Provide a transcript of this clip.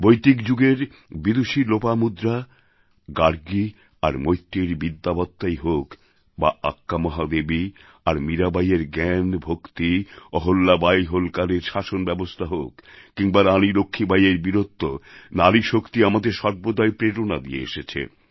বৈদিক যুগের বিদূষী লোপামুদ্রা গার্গী বা মৈত্রেয়ীর বিদ্যাবত্তাই হোক বা আক্কা মহাদেবী আর মীরা বাঈয়ের জ্ঞান ভক্তি অহল্যাবাঈ হোলকারের শাসনব্যবস্থা হোক কিংবা রানী লক্ষ্মীবাঈয়ের বীরত্ব নারীশক্তি আমাদের সর্বদাই প্রেরণা দিয়ে এসেছে